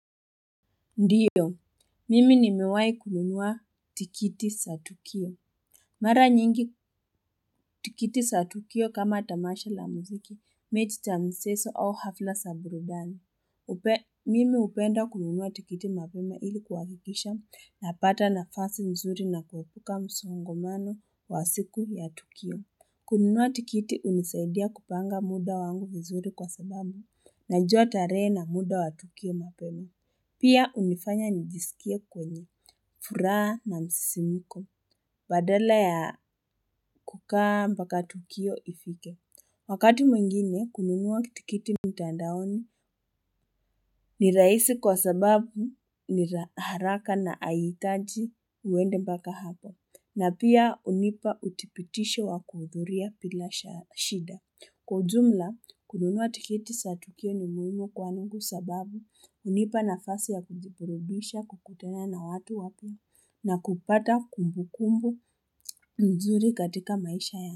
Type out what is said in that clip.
Ndio, mimi nimewahi kununua tikiti za Tukio. Mara nyingi tikiti za Tukio kama tamasha la muziki, mechi za michezo au hafla za burudani. Mimi hupenda kununua tikiti mapema ili kuhakikisha napata nafasi nzuri na kuepuka msongamano wa siku ya Tukio. Kununua tikiti hunisaidia kupanga muda wangu vizuri kwa sababu naijua tarehe na muda wa Tukio mapema. Pia hunifanya nijisikie kwenye, furaha na msisimko, badala ya kukaa mpaka tukio ifike. Wakati mwingine, kununua tikiti mtandaoni ni rahisi kwa sababu ni haraka na haihitaji uende mpaka hapo. Na pia hunipa udhibitisho wa kuhudhuria bila shida. Kwa jumla, kununua tikiti za tukio ni muhimu kwangu sababu hunipa nafasi ya kujiburudisha kukutana na watu wapya na kupata kumbukumbu nzuri katika maisha ya.